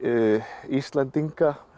Íslendinga